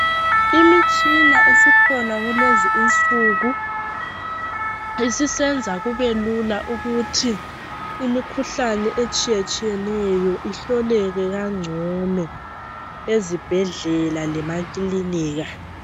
Imitshina esikhona kulezi insuku isisenza kubelula ukuthi imikhuhlane etshiyetshiyeneyo ihloleke kangcono ezibhedlela lemakilinika